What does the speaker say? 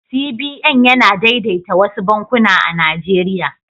CBN yana daidaita wasu bankuna a Najeriya.